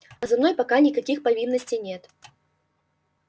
а за мной пока никаких провинностей нет